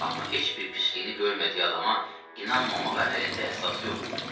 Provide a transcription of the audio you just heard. Amma heç bir pisliyini görmədiyi adama inanmamağa əlində əsas yox idi.